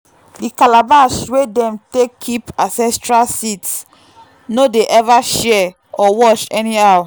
the calabash wey dem take keep ancestral seeds no dey ever share or wash anyhow.